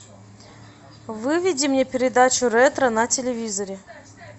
выведи мне передачу ретро на телевизоре